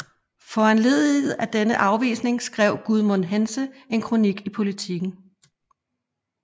Foranlediget af denne afvisning skrev Gudmund Hentze en kronik i Politiken